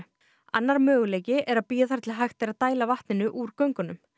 annar möguleiki er að bíða þar til hægt er að dæla vatninu úr göngunum